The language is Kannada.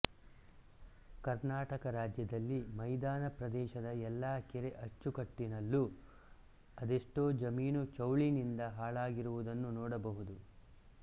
ಕರ್ನಾಟಕ ರಾಜ್ಯದಲ್ಲಿ ಮೈದಾನ ಪ್ರದೇಶದ ಎಲ್ಲ ಕೆರೆ ಅಚ್ಚುಕಟ್ಟಿನಲ್ಲೂ ಅದೆಷ್ಟೋ ಜಮೀನು ಚೌಳಿನಿಂದ ಹಾಳಾಗಿರುವುದನ್ನು ನೋಡಬಹುದು